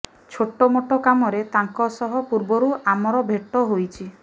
ଛୋଟମୋଟ କାମରେ ତାଙ୍କ ସହ ପୂର୍ବରୁ ଆମର ଭେଟ ହୋଇଛି